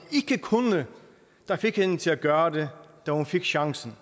ikke kunne der fik hende til at gøre det da hun fik chancen